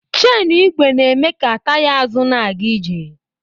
Chenụ igwe na-eme ka taya azụ na-aga ije.